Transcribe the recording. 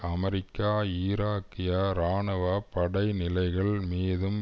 America ஈராக்கிய இராணுவ படைநிலைகள் மீதும்